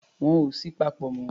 Wọn ò sí papọ̀ mọ́.